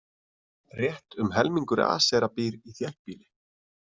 Rétt um helmingur Asera býr í þéttbýli.